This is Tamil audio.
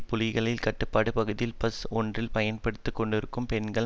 புலிகளின் கட்டுப்பாட்டு பகுதியில் பஸ் ஒன்றில் பயணித்து கொண்டிருந்த பெண்கள்